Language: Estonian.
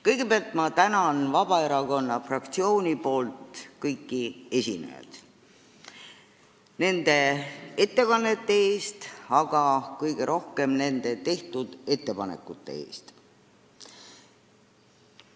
Kõigepealt ma tänan Vabaerakonna fraktsiooni poolt kõiki esinejaid nende ettekannete eest, aga kõige rohkem nende tehtud ettepanekute eest!